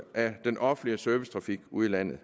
af den offentlige servicetrafik ude i landet